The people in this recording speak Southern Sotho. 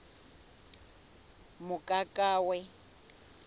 mokakawe